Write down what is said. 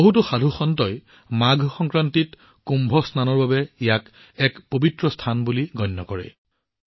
বহুতো সাধুয়ে ইয়াক মাঘ সংক্ৰান্তিত কুম্ভ স্নানৰ বাবে এক পবিত্ৰ স্থান বুলি গণ্য কৰে